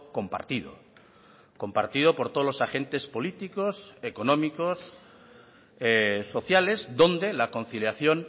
compartido compartido por todos los agentes políticos económicos sociales donde la conciliación